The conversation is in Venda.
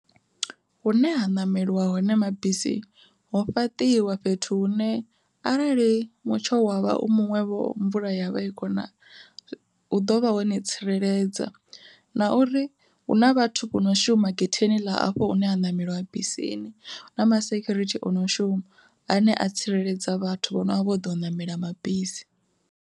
Hune ha ṋameliwa hone mabisi ho fhaṱiwa fhethu hune arali mutsho wa vha u muṅwevho mvula yavha i kho na, hu ḓovha honi tsireledza na uri hu na vhathu vhono shuma getheni ḽa afho hune ha ṋameliwa bisini na masekhurithi ono shuma ane a tsireledza vhathu vho novho vhodo u ṋamela mabisi.